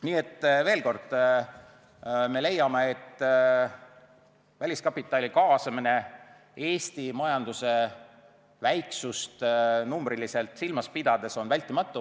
Nii et veel kord: me leiame, et väliskapitali kaasamine on Eesti majanduse väiksust numbriliselt silmas pidades vältimatu.